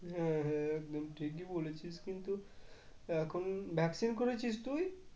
হ্যাঁ হ্যাঁ একদম ঠিকই বলেছিস কিন্তু এখন vaccine করেছিস তুই?